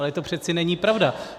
Ale to přece není pravda.